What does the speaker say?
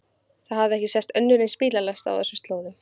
Það hafði ekki sést önnur eins bílalest á þessum slóðum.